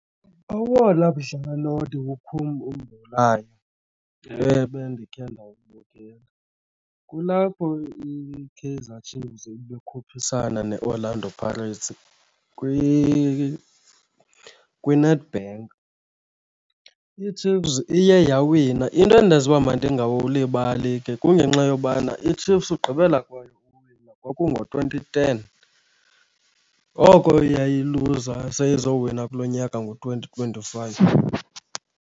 Owona mdlalo ndiwukhumbulayo ebendikhe ndiwubukela kulapho iKaizer Chiefs ibikhuphisana neOrlando Pirates kwiNedbank, iChiefs iye yawina. Into endenza uba mandingaqulibali ke kungenxa yobana iChiefs ugqibela kwayo uwina kwakungo-twenty ten, oko yayiluza seyizowina kulo nyaka ngo-twenty twenty-five.